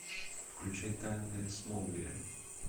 включай тайны смолвиля